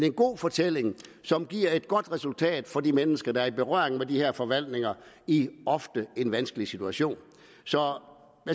en god fortælling som giver et godt resultat for de mennesker der er i berøring med de her forvaltninger i en ofte vanskelig situation så